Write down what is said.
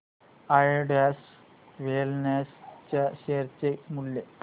Zydus wellness च्या share चे मूल्य